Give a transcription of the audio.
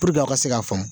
a ka se k'a faamu